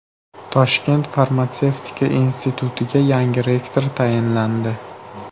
Toshkent farmatsevtika institutiga yangi rektor tayinlandi.